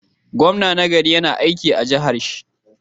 Gwamna na gari yAna aiki a jahar shi